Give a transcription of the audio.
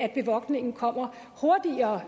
at bevogtningen kommer hurtigere